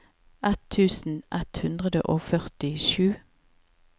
ett tusen ett hundre og førtisju